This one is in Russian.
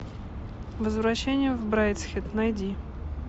возвращение в брайдсхед найди